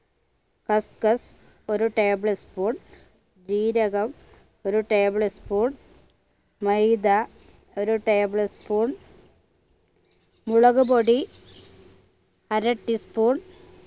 cuscus ഒരു tablespoon ജീരകം ഒരു tablespoon മൈദ ഒരു tablespoon മുളക്പൊടി അര teaspoon